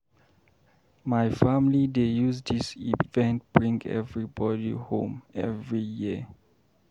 My family dey use dis event bring everybody home every year.